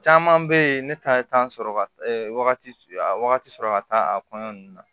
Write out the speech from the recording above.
Caman bɛ yen ne ta ye sɔrɔ wagati sɔrɔ ka taa a kɔɲɔ ninnu na